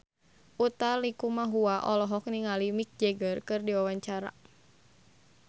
Utha Likumahua olohok ningali Mick Jagger keur diwawancara